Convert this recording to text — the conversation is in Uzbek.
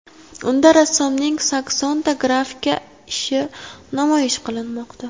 Unda rassomning saksonta grafika ishi namoyish qilinmoqda.